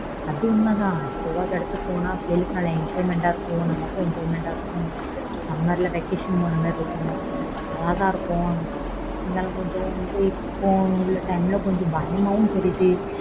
அது உண்மை தான் போகாத இடத்துக்கு போனா பிள்ளைங்க நல்ல enjoyment இருக்கும் நமக்கும் enjoyment இருக்கும் summer vacation போன மாதிரியும் இருக்கும் அழகா இருக்கும் இருந்தாலும் இப்போ உள்ள time ல கொஞ்சம் பயமா இருக்கு